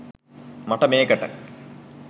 මට මේකට